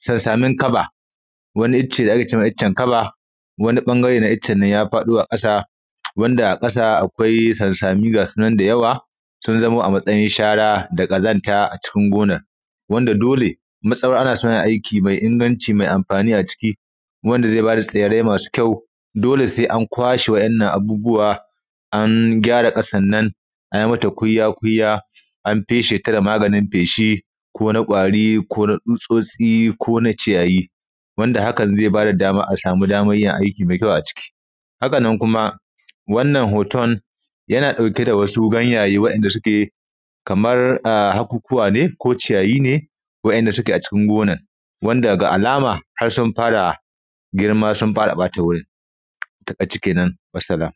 sansamin kaba wani icce da ake ce mai iccen kaba wani ɓangare na iccen nan ya faɗo ƙasa wanda a ƙasa akwai sansami ga su nan da yawa sun zamo a matsayin shara da ƙazanta a cikin gonar wanda dole matsawar ana so a yi aiki mai inganci mai amfani a ciki wanda zai ba da tsirrai masu kyau dole sai an kwashe waɗannan abubuwa an gyara ƙasan nan an yi mata kunya kunya an feshe ta da maganin feshi ko na ƙwari ko na tsutsotsi ko na ʧiyayi wanda hakan zai ba da dama a samu damar yin aiki mai kyau a ciki haka na kuma wannan hoton yana ɗauke da wasu ganyaye waɗanda suke kamar hakukuwa ne ko ciyayi ne waɗanda suke a cikin gonar wanda ga alama har sun fara girma sun fara ɓata gurin a taƙaice kenan wassalam